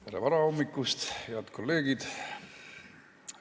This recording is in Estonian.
Tere varahommikust, head kolleegid!